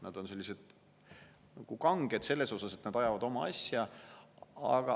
Nad on nagu kanged, selles mõttes, et nad ajavad oma asja.